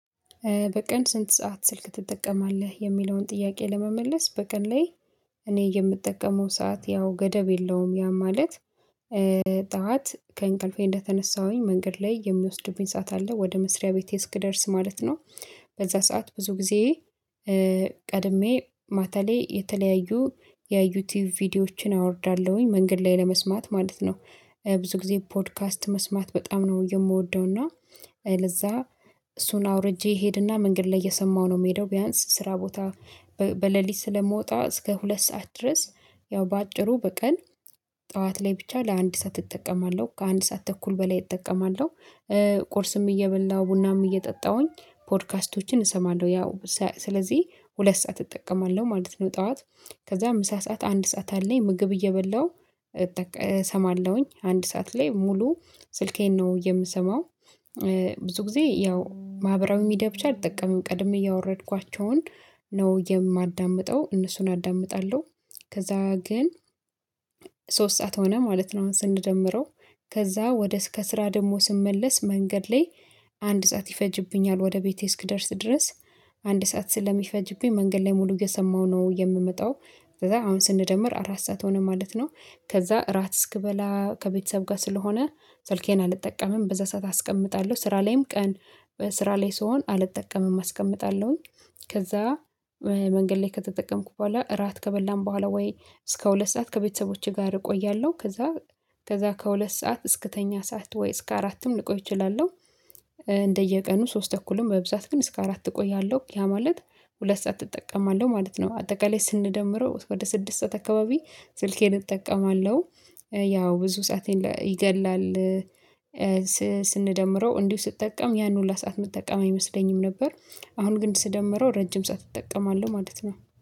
በቀን ስንት ሰዓት ስልክ ትጠቀማለህ? የሚለውን ጥያቄ ለመመለስ በቀን ላይ እኔ የምጠቀመው ሰዓት ያው ገደብ የለውም ያ ማለት ጠዋት ከእንቅልፌ እንደተነሳሁኝ መንገድ ላይ የሚወስዱብኝ ሰዓት አለ ወደ መስሪያ ቤቴ እስክደርስ ማለት ነው። በዛ ሰዓት ብዙ ጊዜ ቀድሜ ማለቴ የተለያዩ የዩቲዩብ ቪዲዮዎችን አወርዳለሁኝ መንገድ ላይ ለመስማት ማለት ነው። ብዙ ጊዜ ፖድካስት መስማት በጣም ነው የምወደው እና ለዛ እሱን አውርጄ እሄድና መንገድ ላይ እየሰማሁ ነው የምሄደው ቢያንስ ስራ ቦታ በሌሊት ስለምወጣ እስከ ሁለት ሰዓት ድረስ ያው በአጭሩ በቀን ጠዋት ላይ ብቻ ለአንድ ሰዓት እጠቀማለሁ። ከአንድ ሰዓት ተኩል በላይ እጠቀማለሁ። ቁርስም እየበላሁ ቡናም እየጠጣሁኝ ፖድካስቶችን እሰማለሁ ያው ስለዚህ ሁለት ሰዓት እጠቀማለሁ ማለት ነው። ጠዋት ከዛ ምሳ ሰዓት አንድ ሰዓት አለኝ ምግብ እየበላሁ እጠቀማለሁ። እሰማለሁኝ አንድ ሰዓት ላይ ሙሉ ስልኬን ነው የምሰማው። ብዙ ጊዜ ያው ማህበራዊ ሚዲያ ብቻ አልጠቀምም። ቀድሜ ያወረድኳቸውን ነው የማዳምጠው እነሱን አዳምጣለሁ። ከዛ ግን ሶስት ሰዓት ሆነ ማለት ነው አሁን ስንደምረው ከዛ ከስራ ደግሞ ስመለስ መንገድ ላይ አንድ ሰዓት ይፈጅብኛል ወደ ቤቴ እስክደርስ ድረስ። አንድ ሰዓት ስለሚፈጅብኝ መንገድ ላይ ሙሉ እየሰማሁ ነው የምመጣው። ከዛ አሁን ስንደምር አራት ሰዓት ሆነ ማለት ነው ከዛ እራት እስክበላ ከቤተሰብ ጋር ስለሆነ ስልኬን አልጠቀምም በዛ ሰዓት አስቀምጣለሁ። ስራ ላይም ቀን ስራ ላይ ስሆን አልጠቀምም አስቀምጣለሁኝ ከዛ መንገድ ላይ ከተጠቀምኩ በኋላ እራት ከበላን በኋላ ወይ እስከ ሁለት ሰዓት ከቤተሰቦቼ ጋር እቆያለሁ ከዛ ከዛ ከሁለት ሰዓት እስክተኛ ሰዓት ወይ እስከ አራትም ልቆይ እችላለሁ። እንደየቀኑ ሶስት ተኩልም በብዛት ግን እስከ አራት እቆያለሁ። ያ ማለት ሁለት ሰዓት እጠቀማለሁ ማለት ነው አጠቃላይ ስንደምረው ወደ ስድስት ሰዓት አካባቢ ስልኬን እጠቀማለሁ። ያው ብዙ ሰአቴን ይገላል። ስንደምረው እንዲሁ ስጠቀም ያን ሁሉ ሰዓት ምጠቀም አይመስለኝም ነበር። አሁን ግን ስደምረው ረጅም ሰዓት እጠቀማለሁ ማለት ነው።